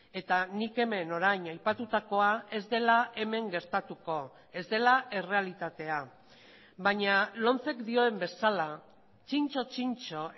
eta nik hemen orain aipatutakoa ez dela hemen gertatuko ez dela errealitatea baina lomcek dioen bezala txintxo txintxo